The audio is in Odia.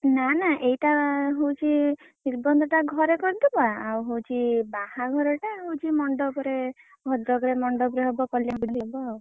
ନା ନା ଏଇଟା ହଉଛି ନିର୍ବନ୍ଧ ଟା ଘରେ କରିଦବା ଆଉ ହଉଛି ବାହାଘରଟା ମଣ୍ଡପରେ ଭଦ୍ରକରେ ମଣ୍ଡପରେ ହବ।